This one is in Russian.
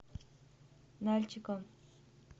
нальчиком